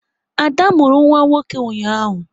Ada mụrụ nwa nwoke ụnyaahụ